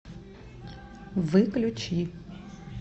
выключи